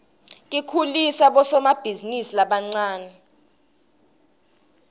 tikhulisa bosomabhizinisi labancane